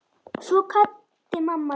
Svo kvaddi mamma líka.